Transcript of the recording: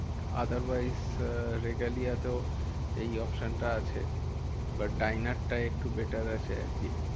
Other wise regalia তেও এই option টা আছে but ডাইনার্স টা একটু better আছে আরকি।